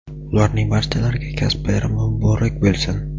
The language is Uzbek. ularning barchalariga kasb bayrami muborak bo‘lsin!.